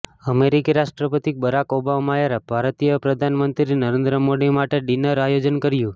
અમેરિકી રાષ્ટ્રપતિ બરાક ઓબામાએ ભારતીય પ્રધાનમંત્રી નરેન્દ્ર મોદી માટે ડિનરનું આયોજન કર્યુ